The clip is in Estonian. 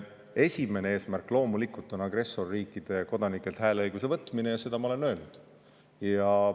Esimene eesmärk loomulikult on agressorriikide kodanikelt hääleõiguse võtmine ja seda ma olen öelnud.